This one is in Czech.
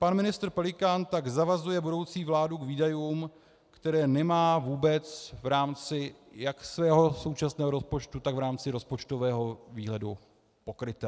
Pan ministr Pelikán tak zavazuje budoucí vládu k výdajům, které nemá vůbec v rámci jak svého současného rozpočtu, tak v rámci rozpočtového výhledu, pokryté.